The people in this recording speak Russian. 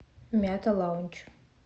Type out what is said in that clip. мята лаунч